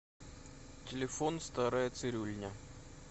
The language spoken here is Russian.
телефон старая цирюльня